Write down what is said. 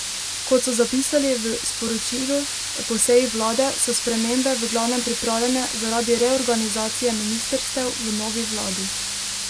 Kot so zapisali v sporočilu po seji vlade, so spremembe v glavnem pripravljene zaradi reorganizacije ministrstev v novi vladi.